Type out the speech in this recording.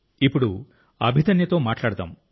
ఇప్పుడు అభిదన్యతో మాట్లాడుకుందాం